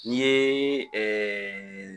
Ɲ'i ye ɛɛ